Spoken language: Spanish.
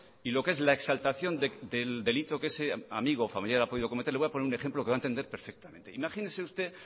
y lo que es la exaltación del delito que ese amigo o familiar ha podido cometer le voy a poner un ejemplo que va a entender perfectamente imagínese usted